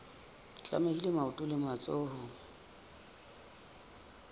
tlamehile maoto le matsoho ho